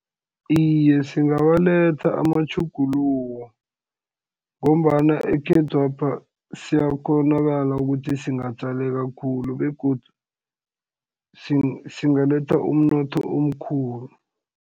Iye singawaletha amatjhuguluko, ngombana ekhethwapha siyakghonakala ukuthi singatjaleka khulu, begodu singaletha umnotho omkhulu.